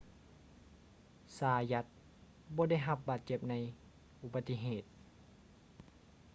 ຊາຢັດ zayat ບໍ່ໄດ້ຮັບບາດເຈັບໃນອຸປະຕິເຫດ